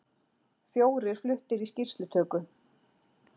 Fjórir fluttir í skýrslutöku